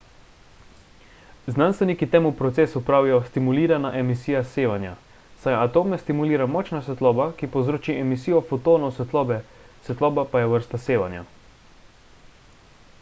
znanstveniki temu procesu pravijo stimulirana emisija sevanja saj atome stimulira močna svetloba ki povzroči emisijo fotonov svetlobe svetloba pa je vrsta sevanja